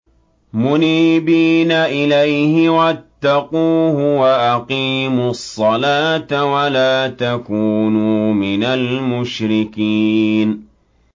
۞ مُنِيبِينَ إِلَيْهِ وَاتَّقُوهُ وَأَقِيمُوا الصَّلَاةَ وَلَا تَكُونُوا مِنَ الْمُشْرِكِينَ